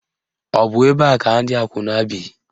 Ọ bụ ebe a ka ndị akwụna bi?